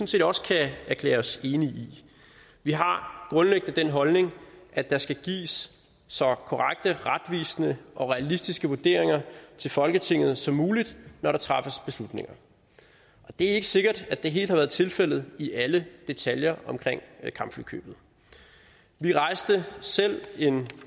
set også kan erklære os enige i vi har grundlæggende den holdning at der skal gives så korrekte retvisende og realistiske vurderinger til folketinget som muligt når der træffes beslutninger det er ikke sikkert at det helt har været tilfældet i alle detaljer omkring kampflykøbet vi rejste selv en